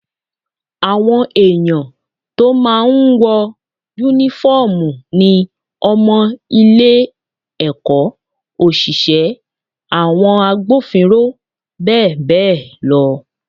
Àwọn èyàn tó máa ń wọ Únífọ́ọ̀mù ni :ọmọ ilé-ẹ̀kọ́, òṣìṣẹ́, àwọn agbófinró bẹ́ẹ̀ bẹ́ẹ̀ lọ